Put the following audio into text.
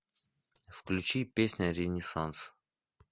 включи песня ренессанс